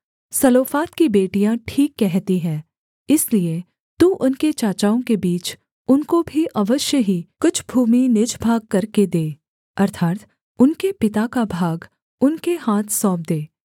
सलोफाद की बेटियाँ ठीक कहती हैं इसलिए तू उनके चाचाओं के बीच उनको भी अवश्य ही कुछ भूमि निज भाग करके दे अर्थात् उनके पिता का भाग उनके हाथ सौंप दे